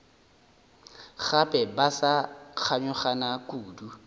gape ba sa kganyogana kudu